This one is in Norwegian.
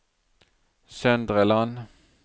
Søndre Land